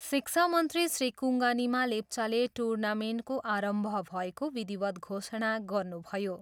शिक्षामन्त्री श्री कुङ्गा निमा लेप्चाले टुर्नामेन्टको आरम्भ भएको विधिवत घोषणा गर्नुभयो।